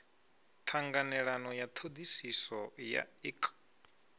ṱhanganelano ya ṱhoḓisiso ya ik